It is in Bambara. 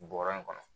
Bɔrɔ in kɔnɔ